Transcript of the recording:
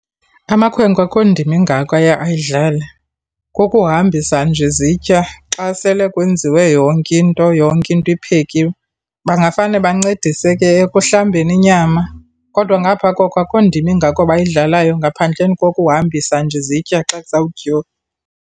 Amakhwenkwe akho ndima ingako aye ayidlale. Kukuhambisa nje izitya xa sele kwenziwe yonke into, yonke into iphekiweyo. Bangafane bancedise ke ekuhlambeni inyama kodwa ngaphaa koko akho ndima ingako bayidlalayo ngaphandleni kokuhambisa nje izitya xa kuzawutyiwa.